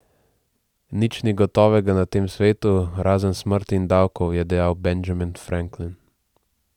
Nič ni gotovega na tem svetu, razen smrti in davkov, je dejal Benjamin Franklin.